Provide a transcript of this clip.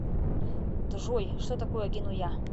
джой что такое генуя